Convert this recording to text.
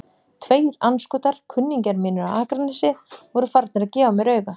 Tveir andskotar, kunningjar mínir á Akranesi, voru farnir að gefa mér auga.